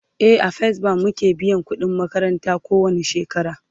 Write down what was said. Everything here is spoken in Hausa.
e a first bank muke biyan ƙudin makaranta ko wani shekara